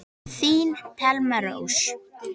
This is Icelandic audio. Þín Thelma Rós.